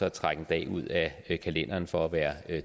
at trække en dag ud af kalenderen for at være